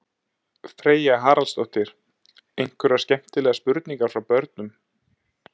Freyja Haraldsdóttir: Einhverjar skemmtilegar spurningar frá börnum?